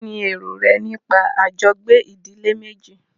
Kínní èrò rẹ nípa àjọgbé ìdílé méjì?